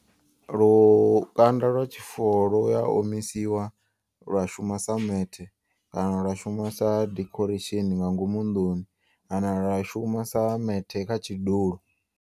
Lukanda lwa tshifuwo luya omisiwa lwa shuma sa methe. Kana lwa shuma sa decoration nga ngomu nḓuni kana lwa shuma sa methe kha tshidulo.